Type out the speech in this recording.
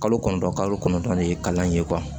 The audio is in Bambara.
Kalo kɔnɔntɔn kalo kɔnɔntɔn de ye kalan ye